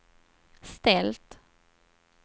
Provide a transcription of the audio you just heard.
ställt